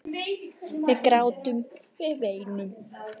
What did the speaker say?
Við grátum, við veinum.